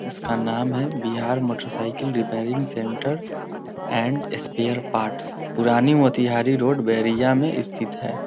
उसका नाम है Bihar motorcycle repairing centre and spare parts पुरानी मोतीहारी रोड बेरियाँ मे स्तिथ है ।